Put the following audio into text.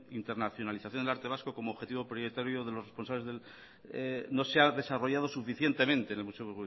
internacionalización del arte vasco como objetivo prioritario de los responsables no se ha desarrollado suficientemente en el museo